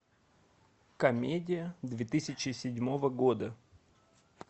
комедия две тысячи седьмого года